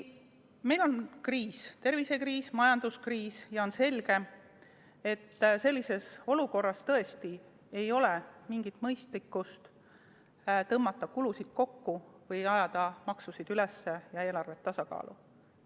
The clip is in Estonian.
Meil on kriis – tervisekriis, majanduskriis – ja on selge, et sellises olukorras ei ole mõistlik tõmmata kulusid kokku või ajada makse üles ja eelarvet tasakaalu.